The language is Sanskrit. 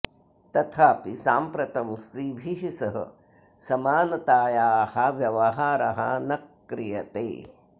तथापि साम्प्रतं स्त्रीभिः सह समानतायाः व्यवहारः न क्रियते